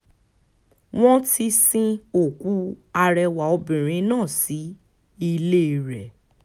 wọ́n ti sin òkú arẹwà obìnrin náà sí ilé rẹ̀